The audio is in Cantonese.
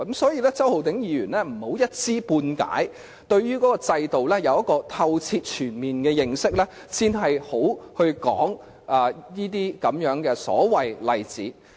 所以，周浩鼎議員不要一知半解，他應該先對這制度有透徹全面的認識，然後才提出這些所謂的例子。